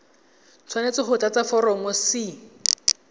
tshwanetse go tlatsa foromo c